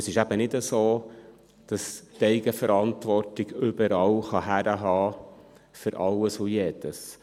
Und es ist eben nicht so, dass die Eigenverantwortung überall herhalten kann, für alles und jedes.